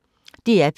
DR P1